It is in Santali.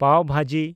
ᱯᱟᱣ ᱵᱷᱟᱡᱤ